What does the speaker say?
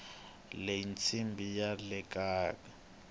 leyi incambi yalekaya